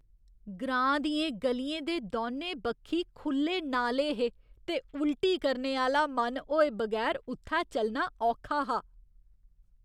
ग्रांऽ दियें ग'लियें दे दौनें बक्खी खु'ल्ले नाले हे ते उल्टी करने आह्‌ला मन होए बगैर उत्थै चलना औखा हा।